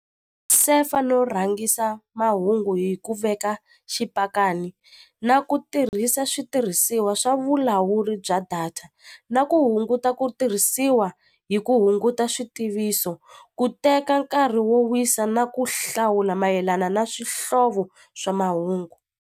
Sefa no rhangisa mahungu hi ku veka xipakani na ku tirhisa switirhisiwa swa vulawuri bya data na ku hunguta ku tirhisiwa hi ku hunguta switiviso ku teka nkarhi wo wisa na ku hlawula mayelana na swihlovo swa mahungu.